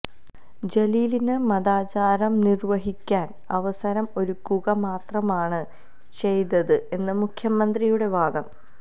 ജലീലിന് മതാചാരം നിര്വഹിക്കാന് അവസരം ഒരുക്കുക മാത്രമാണ് ചെയ്തത് എന്ന് മുഖ്യമന്ത്രിയുടെ വാദം